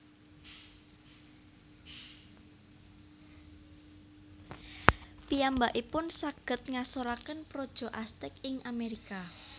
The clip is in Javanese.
Piyambakipun saged ngasoraken praja Aztec ing Amerika